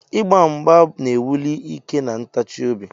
Igba mgba na-ewuli ike na ntachi obi.